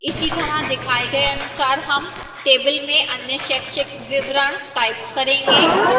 इसीतरह दिखाए गए अनुसार हम table में अन्य शैक्षिक विवरण type करेंगे